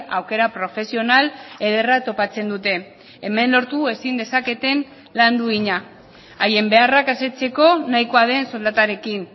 aukera profesional ederra topatzen dute hemen lortu ezin dezaketen lan duina haien beharrak asetzeko nahikoa den soldatarekin